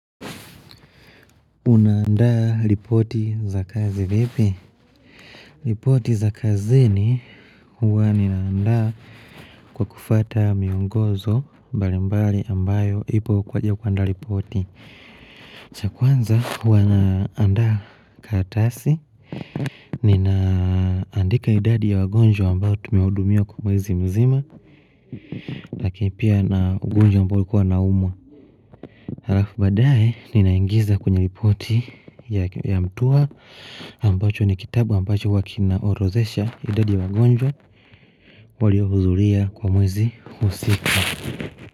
Unaandaa ripoti za kazi vipi? Ripoti za kazini huwa ninaanda kwa kufuata miongozo mbalimbali ambayo ipo kwa ajili ya kuandaa ripoti. Chakwanza huwa naandaa karatasi. Ninaandika idadi ya wagonjwa ambayo tume hudumia kwa mwezi mzima. Lakini pia na ugonjwa ambao alikuwa anaumwa. Halafu baadaye ninaingiza kwenye ripoti ya mtuwa ambacho ni kitabu ambacho huwa kina orozesha idadi ya wagonjwa walio hudhuria kwa mwezi husika.